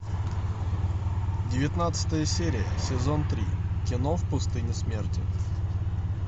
девятнадцатая серия сезон три кино в пустыне смерти